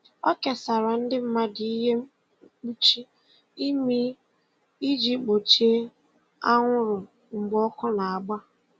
O kesara ndị mmadụ ihe mkpuchi imi iji gbochie anwụrụ mgbe ọkụ na-agba.